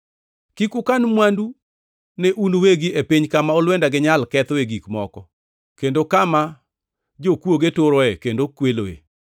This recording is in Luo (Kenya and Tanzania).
“Kik ukan mwandu ne un uwegi e piny kama olwenda gi nyal kethoe gik moko, kendo kama jokwoge turoe kendo kweloe.